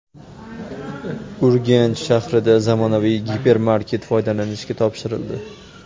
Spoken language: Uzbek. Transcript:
Urganch shahrida zamonaviy gipermarket foydalanishga topshirildi.